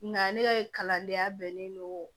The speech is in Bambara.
Nga ne ka kalandenya bɛnnen don